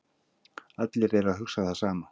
Allir eru að hugsa það sama